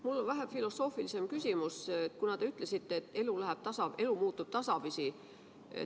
Mul on vähe filosoofilisem küsimus, kuna te ütlesite, et elu muutub tasapisi.